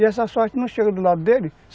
E essa sorte não chega do lado dele.